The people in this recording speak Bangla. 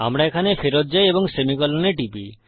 আমরা এখানে ফেরত যাই এবং সেমিকোলন এ টিপি